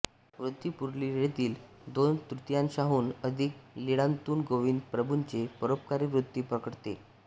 ऋद्धिपूरलीळेतील दोनतृतीयांशांहून अधिक लीळांतून गोविंद प्रभूंची परोपकारी वृत्ती प्रकटते